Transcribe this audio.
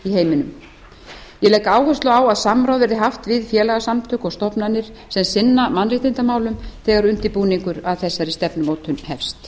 heiminum ég legg áherslu á að samráð verði haft við félagasamtök og stofnanir sem sinna mannréttindamálum þegar undirbúningur að þessari stefnumótun hefst